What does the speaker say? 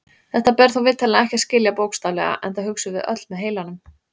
Þetta ber þó vitanlega ekki að skilja bókstaflega enda hugsum við öll með heilanum.